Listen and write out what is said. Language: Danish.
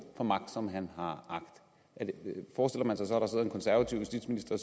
får magt som han har agt forestiller man sig at der så sidder en konservativ justitsminister